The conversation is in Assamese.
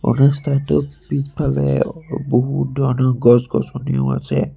ৰাস্তাটোৰ পিছফালে বহুত ধৰণৰ গছ-গছনিও আছে।